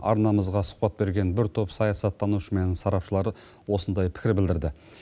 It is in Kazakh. арнамызға сұхбат берген бір топ саясаттанушы мен сарапшылар осылай пікір білдірді